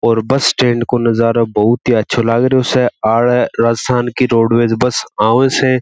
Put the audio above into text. और bus stand को नजरो बहुत ही अच्छा लागेरो स आडे राजस्थान की रोडवेज बस आव स।